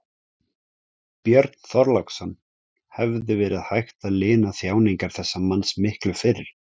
Björn Þorláksson: Hefði verið hægt að lina þjáningar þessa manns miklu fyrr?